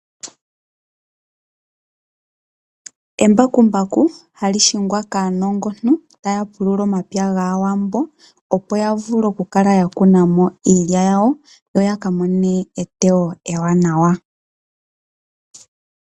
Embakumbaku ohali hingwa kaanongontu taapulula omapya gaawambo opo yavule okukala yakunamo iilya yawo yo yakamone eteyo ewanawa .